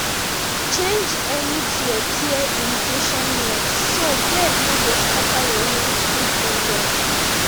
change any tear tear irrigation net so bird no go scatter your young seedling dem